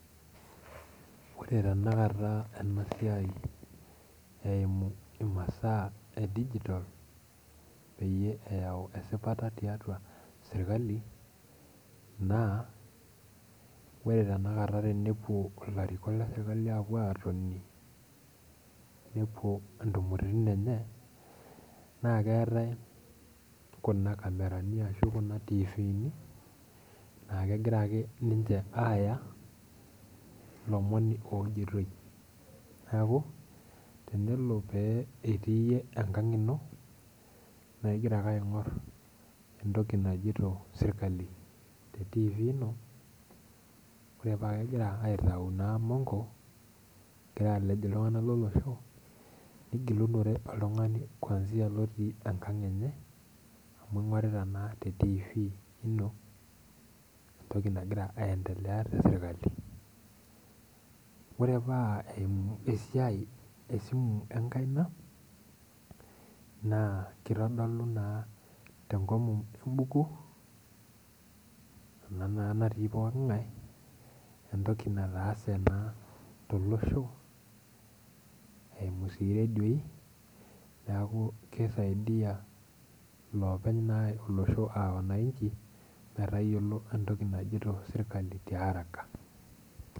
Ore tenakata ena siai eimu imasa ee digital peyie eyau esipata tiatua sirkali naa ore tenakata tenepuo ilarikok le sirkali aapuo atoni nepuo intumoritin enye naa keetae kuna kamerani ashu kuna tifini naa kegira ake ninche aaya ilomon ojitoi niaku, tenelo pee etii enkang' ino naigira ake aing'orr entoki najito sirkali le tifi ino ore paa kegira aitau naa imonko egira alej iltung'anak lolosho nigilunore oltung'ani kwanzia lotii enkang' enye amu aing'urita naa te tifi eiro entoki nagira aendelea te sirkali ore paa eimu esiai esimu enkaina naa kitodolu naa tenkomom embuku ena naa natii poking'ae entoki nataase naa tolosho eimu siiyie doi niaku keisaidiyia iloopeny naa olosho aa wananchi metayiolo entoki najito sirkali tiaraka.